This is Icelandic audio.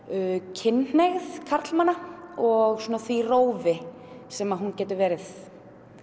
kynhneigð karla og því rófi sem hún getur verið